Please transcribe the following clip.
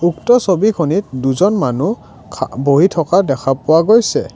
উক্ত ছবিখনিত দুজন মানুহ খা বহি থকা দেখা পোৱা গৈছে।